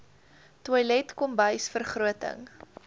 toilet kombuis vergroting